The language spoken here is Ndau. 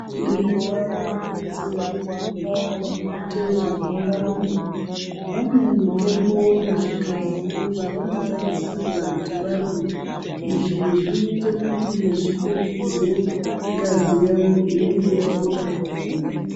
Nguwa inopedze kurumba vanoite zvekurumba- rumba, vane mitombo nezvikafu zvavanotarisirwa kuti varye. Izvi zvinoite kuti zvipetudze ngazi yawo inenge yabuda pakurumba.